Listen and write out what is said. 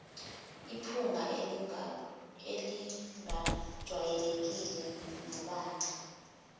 iphunga elingajwayelekile nombala